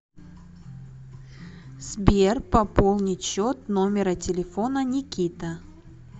сбер пополнить счет номера телефона никита